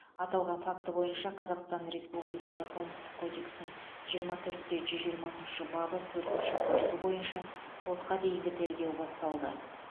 аталған факті бойынша қазақстан республикасы қылмыстық кодексінің жиырма төрт те жүз жиырмасыншы бабы төртінші бөлігі бойынша сотқа дейінгі тергеу басталды